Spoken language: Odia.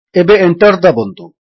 ଏବେ Enter ଦାବନ୍ତୁ